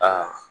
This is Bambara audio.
Aa